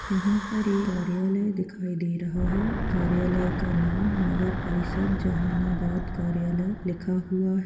यहाँ पर एक कार्यालय दिखाई दे रहा है कार्यालय का नाम नगर परिषद जहानाबाद कार्यालय लिखा हुआ है।